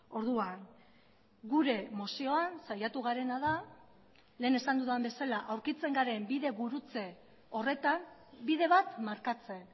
orduan gure mozioan saiatu garena da lehen esan dudan bezala aurkitzen garen bide gurutze horretan bide bat markatzen